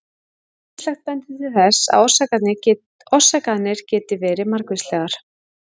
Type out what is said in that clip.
Ýmislegt bendir til þess að orsakirnar geti verið margvíslegar.